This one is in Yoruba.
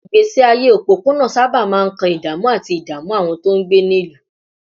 Ìgbésí ayé òpópónà sábà máa ń kan ìdààmú àti ìdààmú àwọn tó ń gbé nílùú